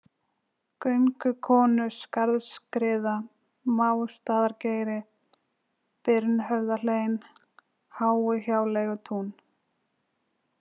Göngukonuskarðsskriða, Másstaðageiri, Birnhöfðahlein, Háuhjáleigutún